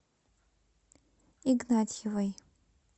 игнатьевой